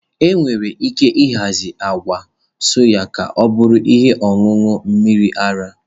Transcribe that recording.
E nwere ike ịhazi agwa soy ka ọ bụrụ ihe ọṅụṅụ mmiri ara.